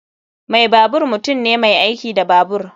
Mai babur mutum ne mai aiki da babur.